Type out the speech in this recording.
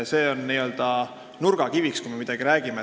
See on nurgakivi, kui me millestki räägime.